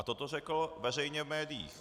A toto řekl veřejně v médiích.